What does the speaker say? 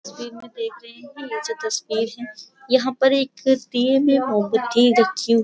तस्वीर में देख रहे हैं ये जो तस्वीर है यहाँ पर एक दिए में मोमबत्ती रखी --